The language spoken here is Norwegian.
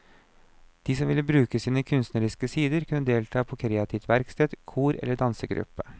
De som ville bruke sine kunstneriske sider kunne delta på kreativt verksted, kor eller dansegruppe.